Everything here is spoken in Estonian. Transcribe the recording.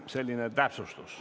Selline täpsustus.